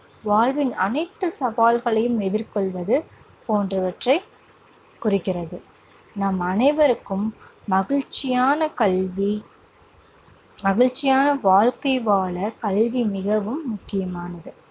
வாழ்வின் அனைத்து சவால்களையும் எதிர்கொள்வது போன்றவற்றை குறிக்கிறது. நாம் அனைவருக்கும் மகிழ்ச்சியான கல்வி, மகிழ்ச்சியான வாழ்க்கை வாழக் கல்வி மிகவும் முக்கியமானது.